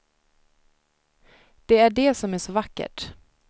Det är det som är så vackert.